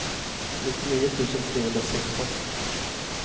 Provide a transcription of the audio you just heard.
nittionio tusen trehundrasexton